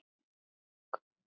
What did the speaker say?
Þó jólin séu að koma.